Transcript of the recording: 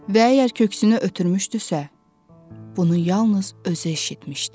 Və əgər köksünü ötürmüşdüsə, bunu yalnız özü eşitmişdi.